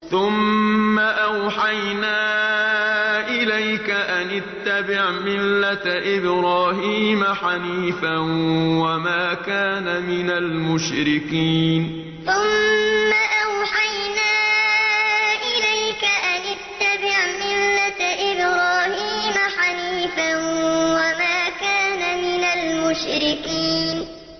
ثُمَّ أَوْحَيْنَا إِلَيْكَ أَنِ اتَّبِعْ مِلَّةَ إِبْرَاهِيمَ حَنِيفًا ۖ وَمَا كَانَ مِنَ الْمُشْرِكِينَ ثُمَّ أَوْحَيْنَا إِلَيْكَ أَنِ اتَّبِعْ مِلَّةَ إِبْرَاهِيمَ حَنِيفًا ۖ وَمَا كَانَ مِنَ الْمُشْرِكِينَ